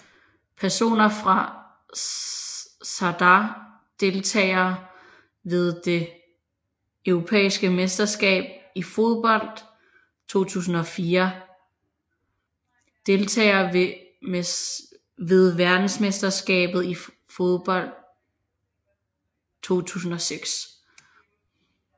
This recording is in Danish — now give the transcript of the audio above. Personer fra Zadar Deltagere ved det europæiske mesterskab i fodbold 2004 Deltagere ved verdensmesterskabet i fodbold 2006